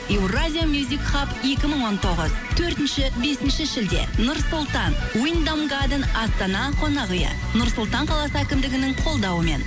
еуразия мюзик хаб екі мың он тоғыз төртінші бесінші шілде нұр сұлтан уйндам гаден астана қонақ үйі нұр сұлтан қаласының әкімдігінің қолдауымен